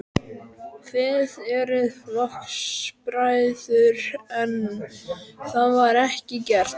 Þið eruð flokksbræður, en það var ekki gert?